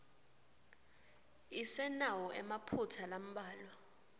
isenawo emaphutsa lambalwa